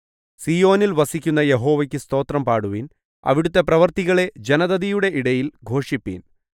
സീയോനിൽ വസിക്കുന്ന യഹോവയ്ക്ക് സ്തോത്രം പാടുവീൻ അവിടുത്തെ പ്രവൃത്തികളെ ജനതതിയുടെ ഇടയിൽ ഘോഷിപ്പീൻ